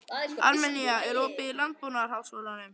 Armenía, er opið í Landbúnaðarháskólanum?